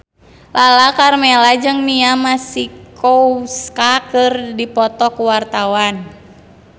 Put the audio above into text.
Lala Karmela jeung Mia Masikowska keur dipoto ku wartawan